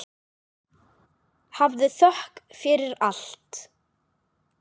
Hafðu þökk fyrir allt.